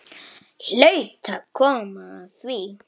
Hlaut að koma að því.